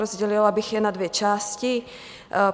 Rozdělila bych je na dvě části.